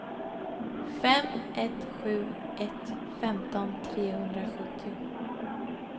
fem ett sju ett femton trehundrasjuttio